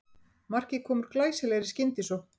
Markið kom úr glæsilegri skyndisókn